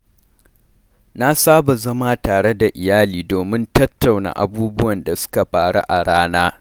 Na saba zama tare da iyali domin tattauna abubuwan da suka faru a rana.